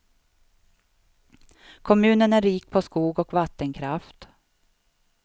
Kommunen är rik på skog och vattenkraft.